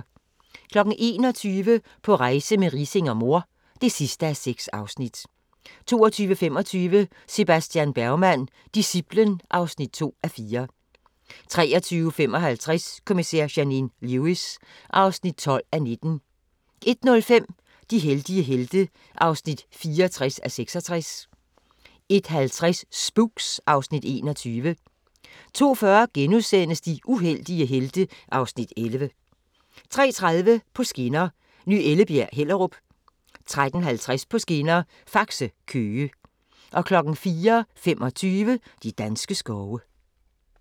21:00: På rejse med Riising og mor (6:6) 22:25: Sebastian Bergman: Disciplen (2:4) 23:55: Kommissær Janine Lewis (12:19) 01:05: De heldige helte (64:66) 01:50: Spooks (Afs. 21) 02:40: De uheldige helte (Afs. 11)* 03:30: På skinner: Ny Ellebjerg – Hellerup 03:50: På skinner: Faxe – Køge 04:25: De danske skove